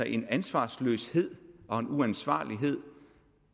en ansvarsløshed og en uansvarlighed